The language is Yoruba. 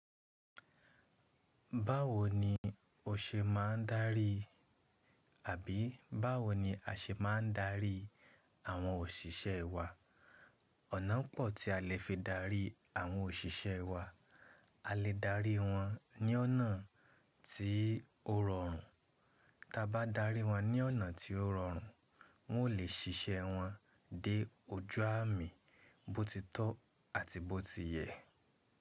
Báwo ni o ṣe máa ń darí àbí báwo ni a ṣe máa ń darí àwọn òṣìṣẹ́ wa? Ọ̀nà pọ̀ tí a lè fi darí àwọn òṣìṣẹ́ wa. A lè darí wọn ní ọ̀nà tí ó rọrùn, ta bá darí wọn ní ọ̀nà tí ó rọrùn wọn o lè ṣiṣẹ́ wọn dé ojú àmì bó ti tọ́ àti bó ti yẹ.